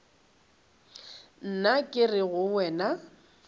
nna ke re go wena